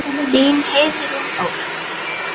Þín, Heiðrún Ósk.